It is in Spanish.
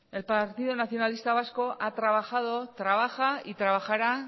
eskerrik asko el partido nacionalista vasco ha trabajado trabaja y trabajará